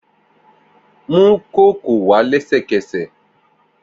Mu kókò wá lẹsẹkẹsẹ!